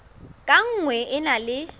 ka nngwe e na le